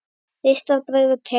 Ristað brauð og te.